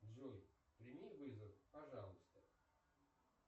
джой прими вызов пожалуйста